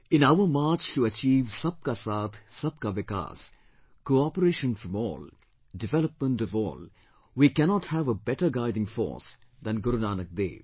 In our march to achieve 'Sab Ka Saath, Sab Ka Vikas', Cooperation from ALL, Development of ALL, we cannot have a better guiding force than Guru Nanak Dev